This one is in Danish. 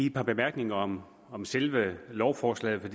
et par bemærkninger om om selve lovforslaget